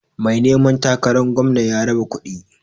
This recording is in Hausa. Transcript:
Mai neman takaran gwamna ya raba kuɗi.